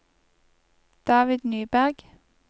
David Nyberg